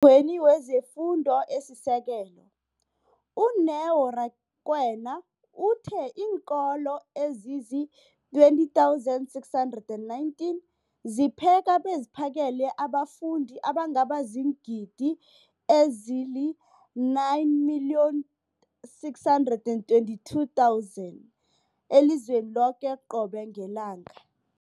gweni wezeFundo esiSekelo, u-Neo Rakwena, uthe iinkolo ezizi-20 619 zipheka beziphakele abafundi abangaba ziingidi ezili-9 622 000 elizweni loke qobe ngelanga.